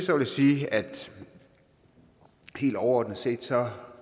jeg sige at helt overordnet set